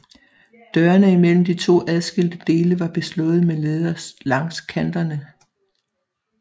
Dørene imellem de to adskilte dele var beslået med læder langs kanterne